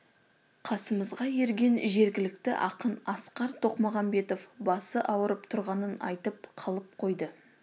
қасымызға ерген жергілікті ақын асқар тоқмағамбетов басы ауырып тұрғанын айтып қалып қойды